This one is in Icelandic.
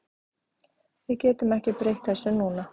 Við getum ekki breytt þessu núna.